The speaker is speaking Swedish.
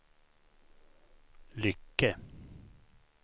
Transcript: Lycke